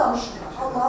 Yalan danışmıram.